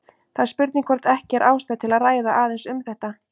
Það er spurning hvort ekki er ástæða til að ræða aðeins um þetta.